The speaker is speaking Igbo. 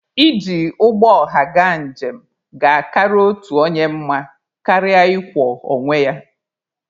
Iji ụgbọ ọha gaa njem ga-akara otu onye mma karịa ị kwọ onye ya.